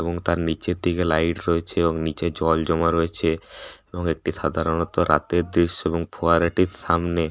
এবং তার নিচের দিকে লাইট রয়েছে এবং নিচে জল জমা রয়েছে এবং এটি সাধারণতঃ রাতের দৃশ্য এবং ফোয়ারাটির সামনে--